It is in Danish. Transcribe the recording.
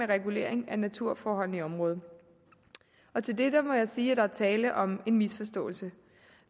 regulering af naturforholdene i området og til det må jeg sige at der er tale om en misforståelse